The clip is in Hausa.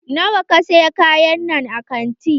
Nawa ka saya kayannan a kanti?